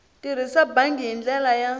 tirhisa bangi hi ndlela ya